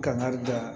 Kangari da